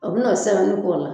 A bi n'o sɛbɛnni k'o la